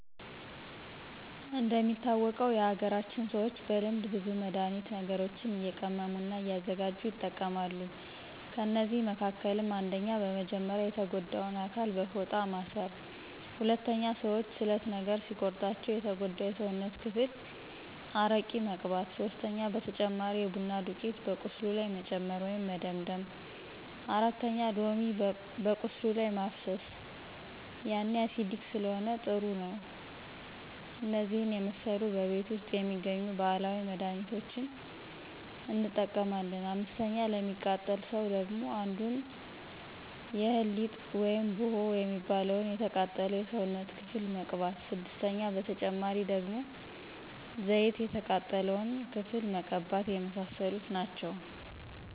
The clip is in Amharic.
እንደሚታወቀው የሀገራችን ሰዎች በልምድ ብዙ መድሀኒት ነገሮችንእየቀመሙ እና እያዘጋጅ ይጠቀማሉ ከእነዚህ መካከልም። 1 :-በመጀመርያ የተጎዳውን አካል በፎጣ ማስር 2:-ሰዎች ስለት ነገር ሲቆርጣቸው የተጎዳው የስውነት ክፍል አረቂ መቅባት 3:-በተጨማሪ የቡና ዱቂት በቁስሉ ላይ መጨመር ወይም መደምደም 4:-ሎሚ በቁስሉ ላይ ማፍሰሰ ያኔ አሲዲክ ስለሆነ ጥሩ ነው እነዚህን የመሰሉ በቤት ውስጥ የሚገኙ ባህላዊ መድህኒቶችን እንጠቀማለን። 5፦ ለሚቃጠል ሰው ደግሞ አንዳንዱ የእህል ሊጥ ውይም ቡሆ የሚባለውን የተቃጠለው የሰውነት ክፍል መቅባት 6:- በተጨማሪ ደግሞ ዘይት የተቃጠለውን መቀባተ የመሳሰሉት ናቸው